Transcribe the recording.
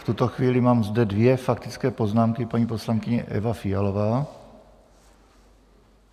V tuto chvíli mám zde dvě faktické poznámky: paní poslankyně Eva Fialová.